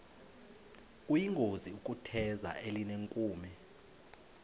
kuyingozi ukutheza elinenkume